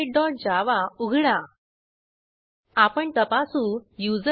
जर तुमच्याकडे चांगली बॅण्डविड्थ नसेल तर आपण व्हिडिओ डाउनलोड करूनही पाहू शकता